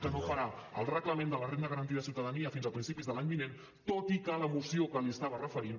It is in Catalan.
que no farà el reglament de la renda garantida de ciutadania fins a principis de l’any vinent tot i que a la moció que li estava referint